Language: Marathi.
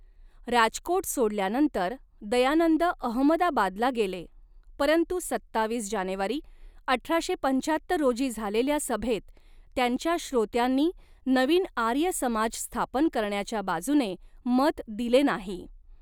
राजकोट सोडल्यानंतर, दयानंद अहमदाबादला गेले, परंतु सत्तावीस जानेवारी अठराशे पंचाहत्तर रोजी झालेल्या सभेत त्यांच्या श्रोत्यांनी नवीन आर्य समाज स्थापन करण्याच्या बाजूने मत दिले नाही.